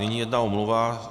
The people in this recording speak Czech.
Nyní jedna omluva.